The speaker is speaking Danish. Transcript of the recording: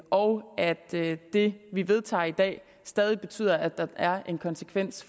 og og at det vi vedtager i dag stadig betyder at der er en konsekvens